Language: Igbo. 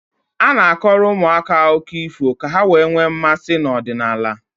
A na-akọrọ ụmụaka akụkọ ifọ ka ha wee nwee mmasị n'ọdịnala.